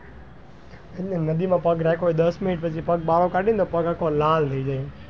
એટલે નદી માં પગ રાખ્યો દસ minute પછી પગ બાર કાઢ્યો તો પગ આખો લાલ થઇ જાય.